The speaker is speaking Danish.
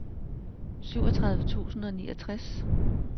syvogtredive tusind og niogtres